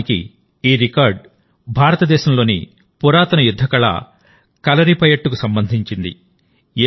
వాస్తవానికిఈ record భారతదేశంలోని పురాతన యుద్ధ కళ కలరిపయట్టుకు సంబంధించింది